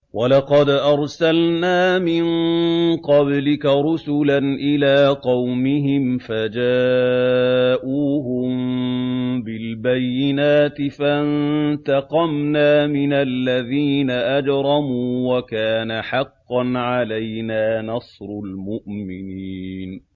وَلَقَدْ أَرْسَلْنَا مِن قَبْلِكَ رُسُلًا إِلَىٰ قَوْمِهِمْ فَجَاءُوهُم بِالْبَيِّنَاتِ فَانتَقَمْنَا مِنَ الَّذِينَ أَجْرَمُوا ۖ وَكَانَ حَقًّا عَلَيْنَا نَصْرُ الْمُؤْمِنِينَ